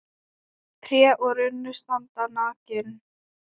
Tré og runnar standa nakin.